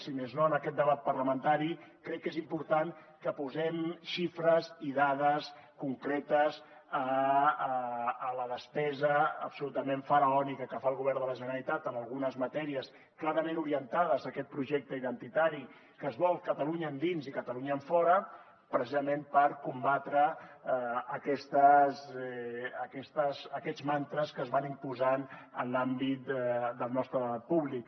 si més no en aquest debat parlamentari crec que és important que posem xifres i dades concretes a la despesa absolutament faraònica que fa el govern de la generalitat en algunes matèries clarament orientades a aquest projecte identitari que es vol catalunya endins i catalunya enfora precisament per combatre aquests mantres que es van imposant en l’àmbit del nostre debat públic